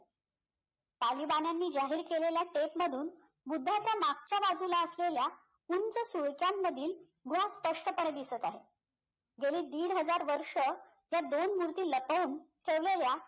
तालिबानाने जाहीर केलेल्या tape मधून बुद्धाच्या मागच्या बाजूला असलेल्या उंच मधील स्पष्टपणे दिसत आहे गेली दीड हझार वर्ष ह्या दोन मूर्ती लपवून ठेवलेल्या